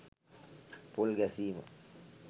පොල් ගැසීම